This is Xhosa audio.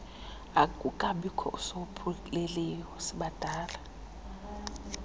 akukabikho usophulileyo sibadala